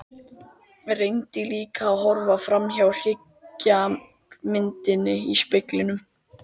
Reyndi líka að horfa framhjá hryggðarmyndinni í speglinum.